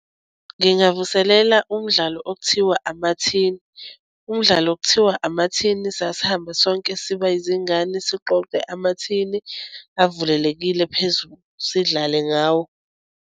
Ngingavuselela umdlalo okuthiwa amathini. Umdlalo okuthiwa amathini sasihamba sonke siba izingane, siqoqe amathini avulelekile phezulu sidlale ngawo.